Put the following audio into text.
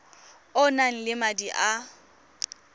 o nang le madi a